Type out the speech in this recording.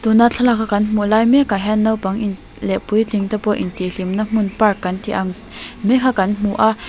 tuna thlalak ah kan hmu lai mek ah hian naupang in leh puitling te pawh in tih hlimna hmun park kan ti ang mai kha kan hmu a.